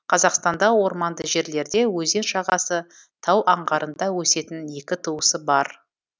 қазақстанда орманды жерлерде өзен жағасы тау аңғарында өсетін екі туысы бар